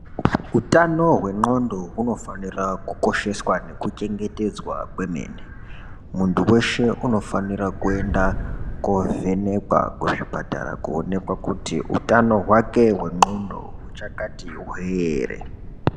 Utano hwe ndxondo unofanira kukosheswa nekuchengetedzwa kwemene muntu weshe unofanira kuenda kovhenekwa kuzvipatara koonekwa kuti utano hwake hwe ndxondo huchakati hwe here.